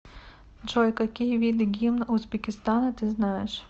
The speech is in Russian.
джой какие виды гимн узбекистана ты знаешь